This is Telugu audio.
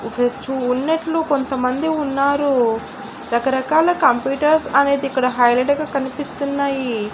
ఉన్నట్లు కొంతమంది ఉన్నారు రకరకాల కంప్యూటర్లు అనేది ఇక్కడ హైలైట్ గా కనిపిస్తున్నాయి.